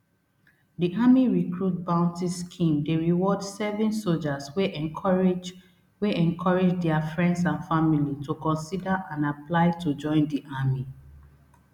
di army recruit bounty scheme dey reward serving sojas wey encourage wey encourage dia friends and family to consider and apply to join di army